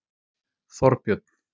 Þorbjörn